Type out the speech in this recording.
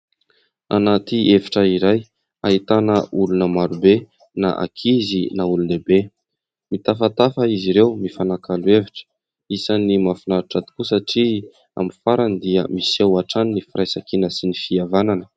Anaty efitra iray, ahitana olona maro be na ankizy na olon-dehibe. Mitafatafa izy ireo, mifanakalo hevitra. Isan'ny mahafinaritra tokoa satria amin'ny farany dia miseho hatrany ny firaisankina sy ny fihavanana.